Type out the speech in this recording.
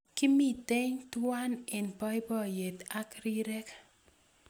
Kimitei tuwai eng boiboiyet ak rirek